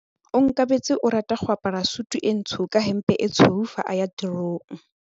Onkabetse o rata go apara sutu e ntsho ka hempe e tshweu fa a ya tirong.